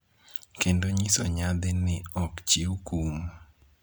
kendo nyiso nyadhi ni ok chiw kum